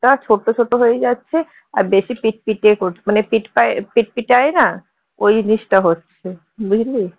ছোট ছোট হয়ে যাচ্ছে আর বেশি পিটপিটে করছে মানে পিটপে~ পিটপিটায় না ওই জিনিসটা হচ্ছে বুঝলি